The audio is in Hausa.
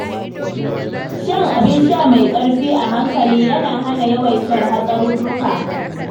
Shan abin sha mai ƙarfi a hankali yana hana yawaitar hatsarurruka.